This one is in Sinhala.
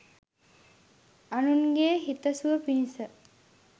අනුන්ගෙ හිතසුව පිණිස.